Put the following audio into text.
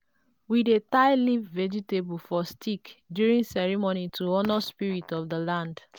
we dey tie leaf vegetable for stick during ceremony to honor spirit of the land